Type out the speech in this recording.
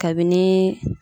Kabini